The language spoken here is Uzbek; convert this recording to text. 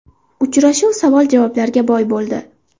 Uchrashuv savol-javoblarga boy bo‘ldi.